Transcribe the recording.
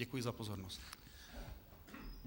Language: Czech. Děkuji za pozornost.